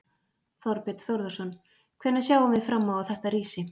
Þorbjörn Þórðarson: Hvenær sjáum við fram á þetta rísi?